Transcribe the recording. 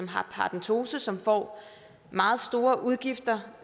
har paradentose som får meget store udgifter